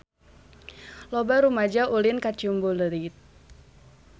Loba rumaja ulin ka Ciumbuleuit